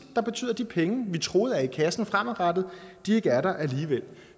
der betyder at de penge vi troede var i kassen fremadrettet ikke er der alligevel